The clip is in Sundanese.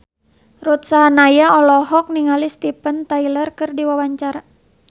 Ruth Sahanaya olohok ningali Steven Tyler keur diwawancara